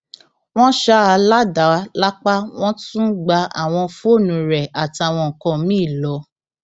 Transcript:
wọn ṣá a ládàá lápá wọn tún gba àwọn fóònù rẹ àtàwọn nǹkan mìín lọ